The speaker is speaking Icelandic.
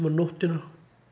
nóttina